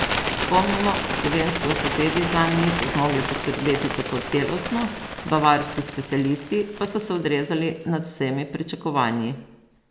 Spomnimo, slovenski ortopedi zanj niso zmogli poskrbeti tako celostno, bavarski specialisti pa so se odrezali nad vsemi pričakovanji.